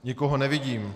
Nikoho nevidím.